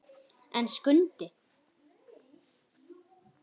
En Skundi!